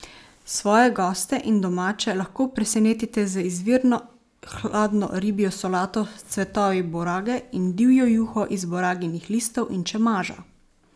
Svoje goste in domače lahko presenetite z izvirno hladno ribjo solato s cvetovi borage in divjo juho iz boraginih listov in čemaža!